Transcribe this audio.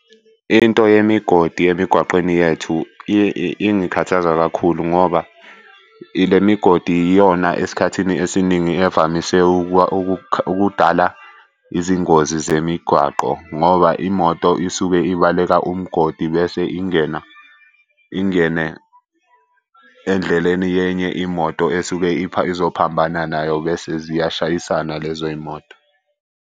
Into yemigodi emigwaqeni yethu iye ingikhathaza kakhulu ngoba ile migodi iyona esikhathini esiningi evamise ukudala izingozi zemigwaqo ngoba imoto isuke ibaleka umgodi bese ingena ingene endleleni yenye imoto esuke izophambana nayo bese ziyashayisana lezo y'moto.